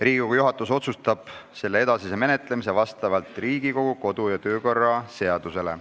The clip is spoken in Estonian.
Riigikogu juhatus otsustab selle menetlemise vastavalt Riigikogu kodu- ja töökorra seadusele.